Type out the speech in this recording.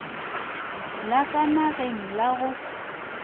la ka nageng la go